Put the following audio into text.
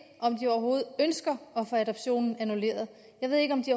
om de overhovedet ønsker at få adoptionen annulleret jeg ved ikke om de